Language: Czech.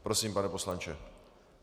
Prosím, pane poslanče.